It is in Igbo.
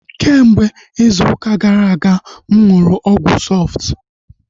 Kemgbe izu ụka gara aga mụ nụrụ ọgwụ Sọftu